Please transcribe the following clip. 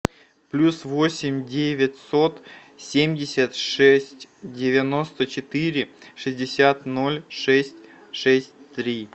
плюс восемь девятьсот семьдесят шесть девяносто четыре шестьдесят ноль шесть шесть три